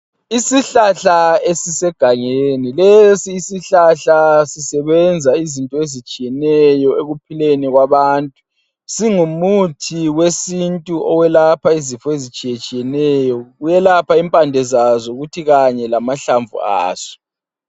Isihlahla esisegangeni lesi isihlahla sisebenza izinto ezitshiyeneyo ekuphileni kwabantu singumuthi wesintu oyelapha izifo ezitshiye tshiyeneyo kuyelapha impande zaso kuthi lamahlamvu aso.